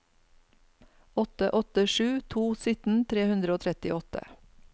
åtte åtte sju to sytten tre hundre og trettiåtte